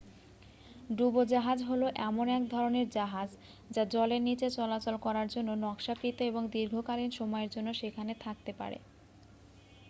ডুবোজাহাজ হল এমন এক ধরণের জাহাজ যা জলের নীচে চলাচল করার জন্য নকশাকৃত এবং দীর্ঘকালীন সময়ের জন্য সেখানে থাকতে পারে